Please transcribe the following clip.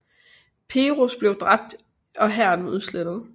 Peroz blev dræbt og hæren udslettet